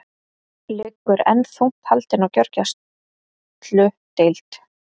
Liggur enn þungt haldin á gjörgæsludeild